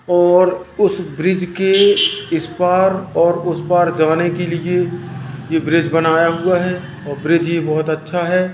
और उसे ब्रिज के इस पर और उसे पर जाने के लिए ये ब्रिज ये बनाया हुआ है और ब्रिज ये बहुत अच्छा है।